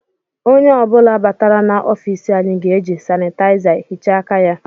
Onye ọ bụla batara na ọfiisi anyị ga-eji sanitayiza hichaa aka ya